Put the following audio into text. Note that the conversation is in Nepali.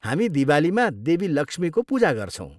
हामी दिवालीमा देवी लक्ष्मीको पूजा गर्छौँ।